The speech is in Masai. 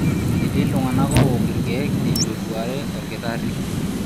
Etii iltung'ana oowok ilkeek eitu eduare olkitari.